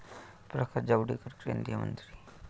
प्रकाश जावडेकर, केंद्रीय मंत्री